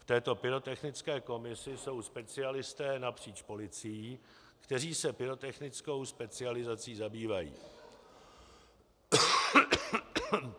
V této pyrotechnické komisi jsou specialisté napříč policií, kteří se pyrotechnickou specializací zabývají.